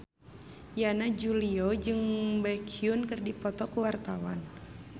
Yana Julio jeung Baekhyun keur dipoto ku wartawan